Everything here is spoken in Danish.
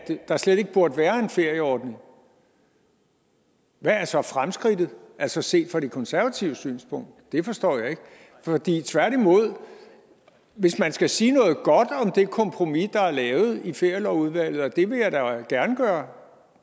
der slet ikke burde være en ferieordning hvad er så fremskridtet altså set fra de konservatives synspunkt det forstår jeg ikke for hvis man skal sige noget godt om det kompromis der er lavet i ferielovudvalget og det vil jeg da gerne gøre